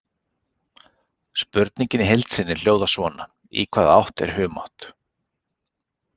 Spurningin í heild sinni hljóðaði svona: Í hvaða átt er humátt?